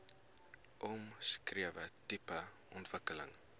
omskrewe tipe ontwikkeling